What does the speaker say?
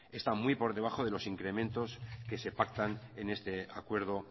está muy por debajo de los incrementos que se pactan en este acuerdo